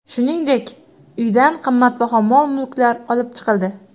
Shuningdek, uydan qimmatbaho mol-mulklar olib chiqildi.